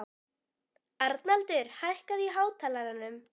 Arnaldur, hækkaðu í hátalaranum.